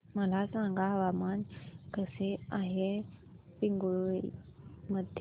मला सांगा हवामान कसे आहे पिंगुळी मध्ये